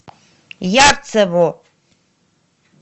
ярцево